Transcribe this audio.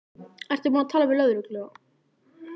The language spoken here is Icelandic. Ertu búin að tala við lögregluna?